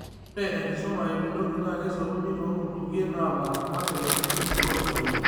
Ore enkisuma e Binogi naa keisoruni too nkutukie naapasha, kake meeti olooswaili